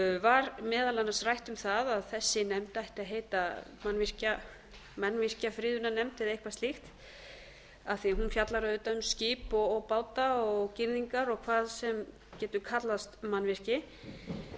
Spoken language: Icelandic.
var meðal annars rætt um það að þessi nefnd ætti að heita mannvirkjafriðunarnefnd eða eitthvað slíkt af því að hún fjallar auðvitað um skip og báta og girðingar og hvað sem við getum kallað mannvirki